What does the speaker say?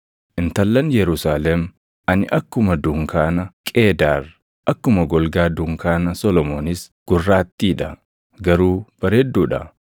Intallan Yerusaalem, ani akkuma dunkaana Qeedaar, akkuma golgaa dunkaana Solomoonis gurraattii dha; garuu bareedduu dha.